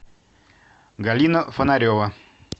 галина фонарева